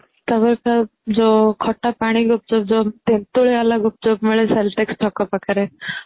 ତା ପରେ ଯୋଉ ଖଟା ପାଣି ଗୁପ୍ଚୁପ ଯଉ ତେନ୍ତୁଳି ଵାଲା ଗୁପ୍ଚୁପ ମିଳେ ଛକ ପାଖରେ